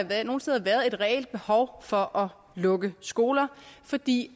der nogle steder været et reelt behov for at lukke skoler fordi